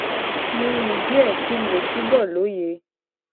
mo rìn díè kí n lè túbò lóye